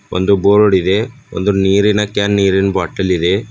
ಒಂದು ಬೋರ್ಡ್ ಇದೆ ಒಂದು ನೀರಿನ ಕ್ಯಾನ್ ನೀರಿನ್ ಬಾಟಲ್ ಇದೆ.